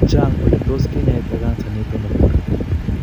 Chang ele tot kinyaita kansa nitok nebo korotik